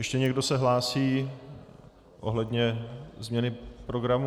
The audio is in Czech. Ještě někdo se hlásí ohledně změny programu?